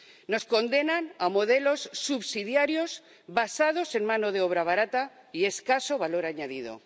Nos condenan a modelos subsidiarios basados en mano de obra barata y escaso valor añadido.